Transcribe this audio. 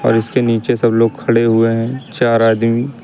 और इसके नीचे सब लोग खड़े हुए हैं चार आदमी।